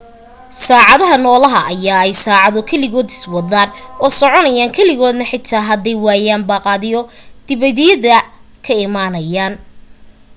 saacadaha nolaha ayaa ay saacado keligooda iswadaan oo soconayaan keligooda xitaa haday waayaan baaqyo dibadda ka imaado